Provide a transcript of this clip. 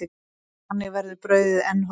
Þannig verður brauðið enn hollara.